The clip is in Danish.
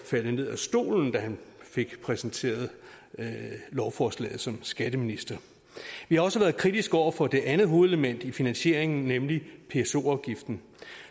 falde ned af stolen da han fik præsenteret lovforslaget som skatteminister vi har også været kritiske over for det andet hovedelement i finansieringen nemlig pso afgiften